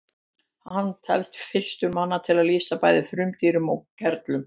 hann telst fyrstur manna til að lýsa bæði frumdýrum og gerlum